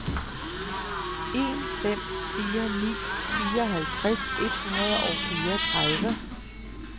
en fem fire ni fireoghalvtreds et hundrede og fireogtredive